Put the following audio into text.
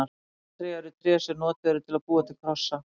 Krosstré er tré sem notað er til að búa til krossa.